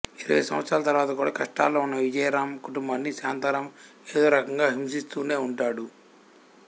ఇరవై సంవత్సరాల తర్వాత కూడా కష్టాల్లో ఉన్న విజయరామ్ కుటుంబాన్ని శాంతారామ్ ఏదోరకంగా హింసిస్తూనే ఉంటాడు